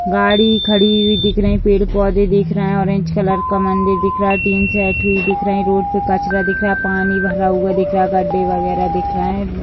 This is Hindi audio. गाड़ी खड़ी हुई दिख रही है पेड़-पौधे दिख रहे हैं ऑरेंज कलर का मंदिर दिख रहा है टीन सेट हुई दिख रहा है रोड पे कचरा दिख रहा है पानी भरा हुआ दिख रहा है गड्ढे वगेरह दिख रहे हैं।